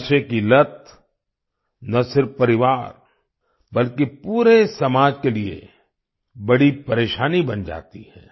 नशे की लत न सिर्फ परिवार बल्कि पूरे समाज के लिए बड़ी परेशानी बन जाती है